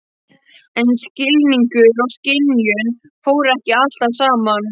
En skilningur og skynjun fóru ekki alltaf saman.